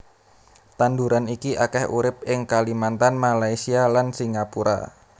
Tanduran iki akèh urip ing Kalimantan Malaysia lan Singapura